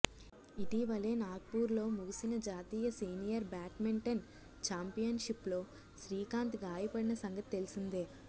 ఇటీవలే నాగ్పూర్లో ముగిసిన జాతీయ సీనియర్ బ్యాడ్మింటన్ ఛాంపియన్షిప్లో శ్రీకాంత్ గాయపడిన సంగతి తెలిసిందే